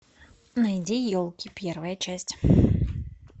найди елки первая часть